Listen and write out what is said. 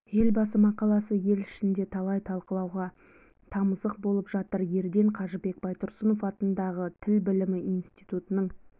елбасы мақаласы ел ішінде талай талқылауға тамызық болып жатыр ерден қажыбек байтұрсынов атындағы тіл білімі институтының